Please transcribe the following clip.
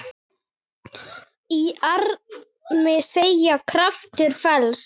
Í armi seggja kraftur felst.